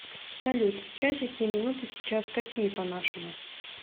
салют часики и минуты сейчас какие по нашему